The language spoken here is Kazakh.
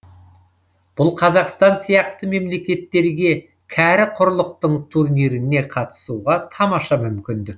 бұл қазақстан сияқты мемлекеттерге кәрі құрлықтың турниріне қатысуға тамаша мүмкіндік